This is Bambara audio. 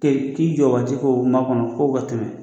K'i jɔ ka to k'o ma kɔnɔ fɔ o ka tɛmɛ.